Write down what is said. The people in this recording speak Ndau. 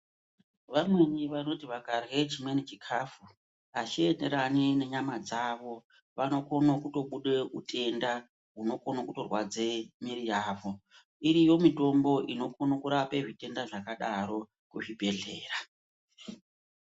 Vamweni vanoti vakarya chimweni chikafu achienderani nenyama dzawo .Vanokone kutobuda mitenda inorwadze muiri yawo. Iriyo mitombo inokone kurape mitombo dzakadaro kuzvibhehlera.